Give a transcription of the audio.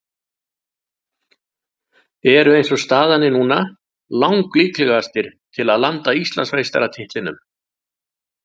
Eru eins og staðan er núna lang líklegastir til að landa Íslandsmeistaratitlinum.